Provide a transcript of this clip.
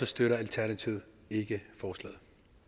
støtter alternativet ikke forslaget